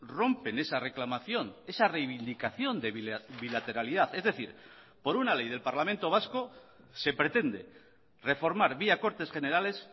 rompen esa reclamación esa reivindicación de bilateralidad es decir por una ley del parlamento vasco se pretende reformar vía cortes generales